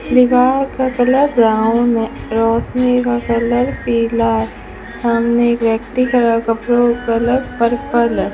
दीवार का colour brown है रोशनी का कलर पीला है सामने एक व्यक्ति खड़ा कपड़ों का कलर पर्पल है।